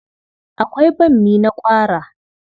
Akwai bammi na ƙwara.